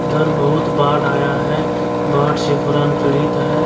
इधर बहुत बाढ़ आया है बाट से पुरान पीड़ित है --